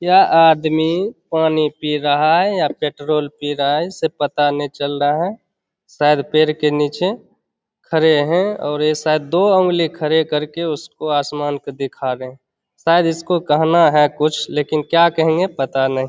यह आदमी पानी पी रहा है या पेट्रोल पी रहा है इसे पता ने चल रहा है। शायद पेड़ के नीचे खड़े है और शायद दो उगली खड़ी करके उसको आसमान को दिखा रहे है। शायद उसको कहना है कुछ लेकिन क्या कहेंगे उसको पता नहीं।